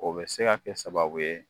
O bɛ se kɛ sababu ye